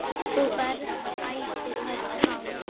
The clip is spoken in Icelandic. Þú berð ætíð höfuð hátt.